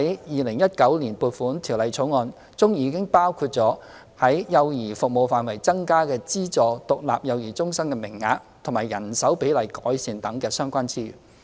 《2019年撥款條例草案》已包括在幼兒服務範疇增加資助獨立幼兒中心名額及改善人手比例等的相關資源。